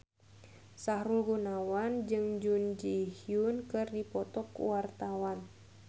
Sahrul Gunawan jeung Jun Ji Hyun keur dipoto ku wartawan